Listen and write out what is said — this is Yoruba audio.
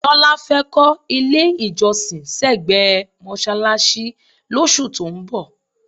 Tọ́lá fẹ́ kọ́ ilé-ìjọsìn sẹ́gbẹ̀ẹ́ mọ́ṣáláṣí lóṣù tó ń bọ̀.